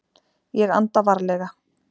Ég anda varlega.